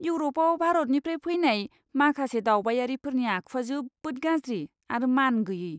इउरपआव भारतनिफ्राय फैनाय माखासे दावबायारिफोरनि आखुआ जोबोद गाज्रि आरो मानगैयै!